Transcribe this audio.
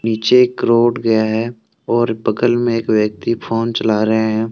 नीचे एक रोड गया है और बगल में एक व्यक्ति फोन चला रहे हैं।